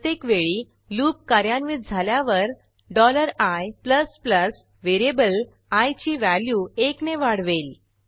प्रत्येकवेळी लूप कार्यान्वित झाल्यावर i व्हेरिएबल आय ची व्हॅल्यू एकने वाढवेल